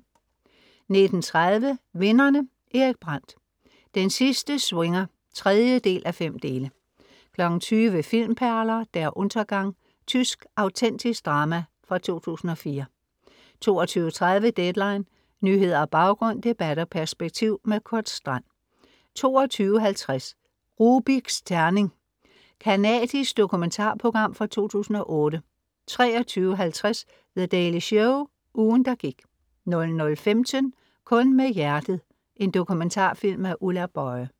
19:30 Vinderne: Erik Brandt. Den sidste swinger (3:5). 20:00 Filmperler: Der Untergang. Tysk autentisk drama fra 2004 22:30 Deadline. Nyheder, baggrund, debat og perspektiv. Kurt Strand 22:50 Rubiks terning. Canadisk dokumentarprogram fra 2008 23:50 The Daily Show ugen der gik 00:15 Kun med hjertet. en dokumentarfilm af Ulla Boye